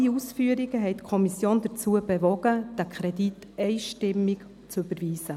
All die ausgeführten Gründe haben die Kommission dazu bewogen, den Kredit «einstimmig» zu überweisen.